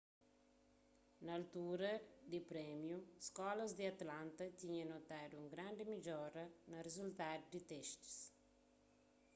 na altura di prémiu skólas di atlanta tinha notadu un grandi midjora na rizultadu di testis